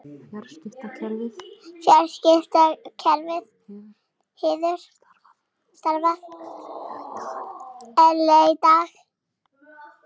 Fjarskiptakerfið hefur starfað eðlilega í dag